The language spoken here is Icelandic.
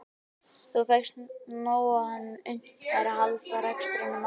Þá fékkst ekki nóg fyrir hann til að unnt væri að halda rekstrinum áfram.